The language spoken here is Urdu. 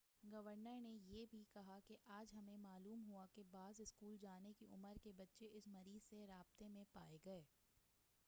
گورنر نے یہ بھی کہا کہ،"آج ہمیں معلوم ہوا کہ بعض اسکول جانے کی عمر کے بچے اس مریض سے رابطے میں پائے گئے ہیں۔